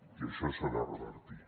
i això s’ha de revertir